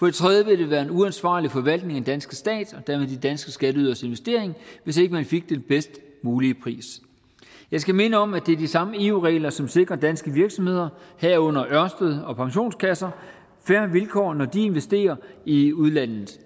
det tredje ville det være en uansvarlig forvaltning af den danske stats og dermed de danske skatteyderes investering hvis ikke man fik den bedst mulige pris jeg skal minde om at det er de samme eu regler som sikrer danske virksomheder herunder ørsted og pensionskasser fair vilkår når de investerer i udlandet